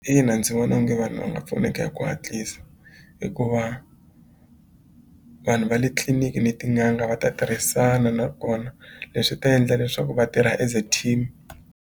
Ina ndzi vona onge vanhu va nga pfuneka hi ku hatlisa hikuva vanhu va le tliliniki ni tin'anga va ta tirhisana nakona leswi ta endla leswaku va tirha as a team.